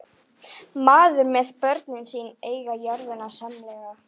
Mæður með börn sín eiga jörðina sameiginlega.